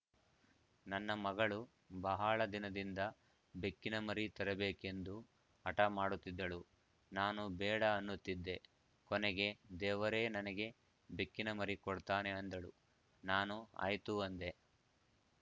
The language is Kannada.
ನನ್ನ ಮಗಳು ಬಹಳ ದಿನದಿಂದ ಬೆಕ್ಕಿನಮರಿ ತರಬೇಕೆಂದು ಹಟ ಮಾಡುತ್ತಿದ್ದಳು ನಾನು ಬೇಡ ಅನ್ನುತ್ತಿದ್ದೆ ಕೊನೆಗೆ ದೇವರೇ ನನಗೆ ಬೆಕ್ಕಿನಮರಿ ಕೊಡ್ತಾನೆ ಅಂದಳು ನಾನು ಆಯ್ತು ಅಂದೆ